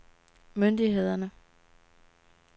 myndighederne